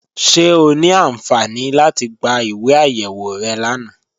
Ṣẹ̀ ọ ní ànṣẹ́ni láti gbá ìwé ayéwò rẹ lána?